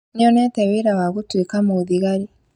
Nĩonete wĩra wa gũtuĩka mũthigari